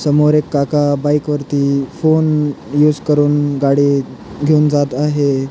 समोर एक काका बाइक वरती फोन युस करून गाडी घेऊन जात आहे.